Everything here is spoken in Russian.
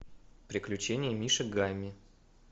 приключения мишек гамми